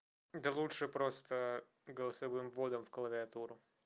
да лучше просто голосовым вводом в клавиатуру